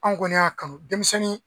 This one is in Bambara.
Anw kɔni y'a kanu denmisɛnnin